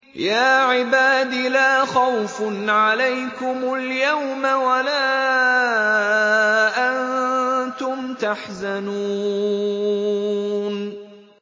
يَا عِبَادِ لَا خَوْفٌ عَلَيْكُمُ الْيَوْمَ وَلَا أَنتُمْ تَحْزَنُونَ